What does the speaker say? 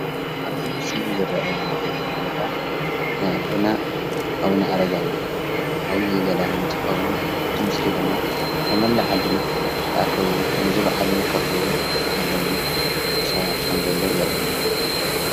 ኣብዚ ምስሊ ዝረኣየና ዘሎ ምስሊ ቦታ ናይ ኣቦና ኣቡነ ኣረጋዊ ዓብይ ገዳም እንትኸዉን እቲ ምሰሊ ድማ ካብ መላአ ዓድና ተኣከቡ ነዚ በዓል እዉን ከኽብሩ ዝተዓደሙ ሰባት ከም ዘለዉ የርእየና፡፡